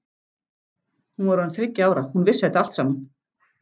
Hún var orðin þriggja ára, hún vissi þetta allt saman.